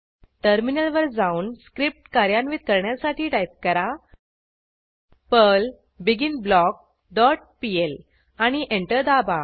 टर्मिनलवर जाऊन स्क्रिप्ट कार्यान्वित करण्यासाठी टाईप करा पर्ल बिगिनब्लॉक डॉट पीएल आणि एंटर दाबा